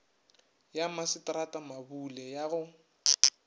ya masetrata mabule ya go